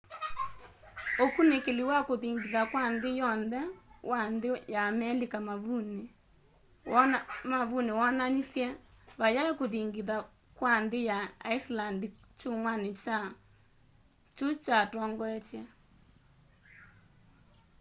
ũkunîkîli wa kûthingitha kwa nthî yonthe wa nthî ya amelika mavunî woonanisye vayai kûthingitha kwa nthî ya iceland kyumwanî kyu kyatongoetye